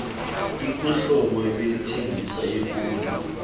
ikuhlobo ebeyithengise ikulo